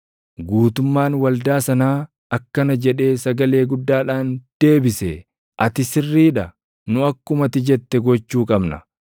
Guutummaan waldaa sanaa akkana jedhee sagalee guddaadhaan deebise: “Ati sirrii dha! Nu akkuma ati jette gochuu qabna.